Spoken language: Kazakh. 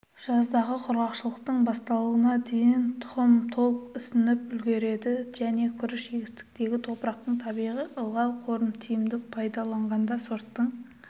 жаздағы құрғақшылықтың басталуына дейін тұқым толық ісініп үлгереді және күріш егістігіндегі топырақтың табиғи ылғал қорын тиімді пайдаланғанда сорттың